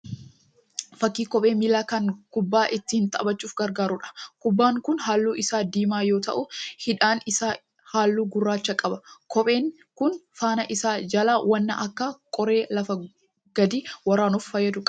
Fakkii kophee miillaa kan kubbaa ittiin taphachuuf gargaaruudha. Kopheen kun halluu isaa diimaa yoo ta'u hidhaan isaa halluu gurraacha qaba. Kopheen kun faana isaa jalaa waan akka qoree lafa gadi waraanuuf fayyadu qaba.